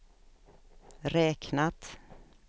räknat